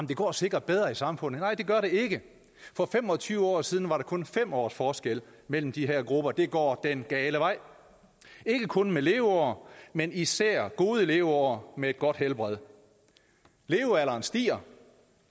det går sikkert bedre i samfundet nej det gør det ikke for fem og tyve år siden var der kun fem års forskel mellem de her grupper det går den gale vej ikke kun til leveår men især gode leveår med et godt helbred levealderen stiger